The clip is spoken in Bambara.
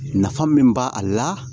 Nafa min b'a a la